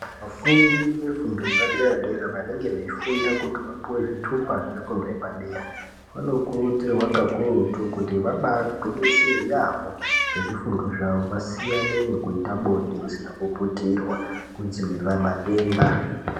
Vafundi vefundo yepadera -dera vanenge veifunda kuti vapuwe zvitupa zvefundo yepadera vanokurudzirwa kakurutu kuti vabaagwinyisira yaamho ngezvifundo zvawo vasiyane nezvekuita bonde risina kuputirwa kudzivirira madenda.